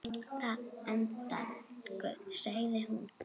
Að endingu segir hún